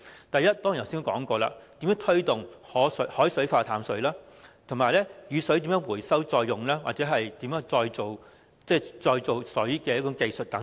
第一，正如我剛才所說，如何推動以海水化淡方式生產食水、如何回收雨水再用，或如何提升再造水的技術等。